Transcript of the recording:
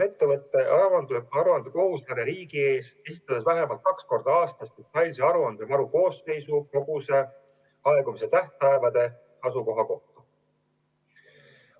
Ettevõte on aruandekohuslane riigi ees, avaldades vähemalt kaks korda aastas detailse aruande varu koosseisu, koguse, aegumise tähtpäevade ja asukoha kohta.